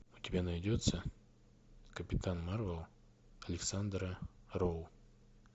у тебя найдется капитан марвел александра роу